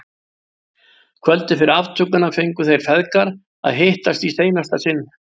Kvöldið fyrir aftökuna fengu þeir feðgar að hittast í seinasta sinn.